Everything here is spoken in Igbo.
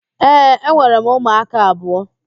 Ee, enwere m ụmụaka abụọ.